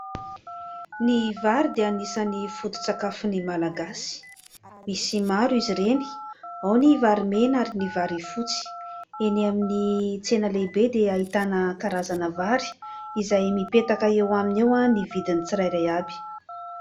Ny vary dia anisan'ny foto-tsakafon'ny malagasy. Misy maro izy ireny, ao ny vary mena ary ny vary fotsy. Eny amin'ny tsena lehibe dia ahitana karazana vary izay mipetaka eo aminy eo ny vidin'ny tsirairay avy.